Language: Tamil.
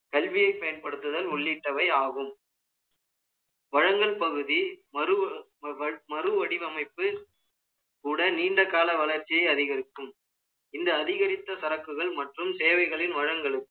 கல்வியை பயன்படுத்துதல் உள்ளிட்டவை ஆகும் வழங்கல் பகுதி மறுவடிவமைப்பு கூட நீண்ட கால வளர்ச்சியை அதிகரிக்கும் இந்த அதிகரித்த சரக்குகள் மற்றும் சேவைகளின் வளங்களுக்கு